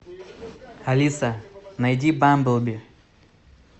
алиса найди бамблби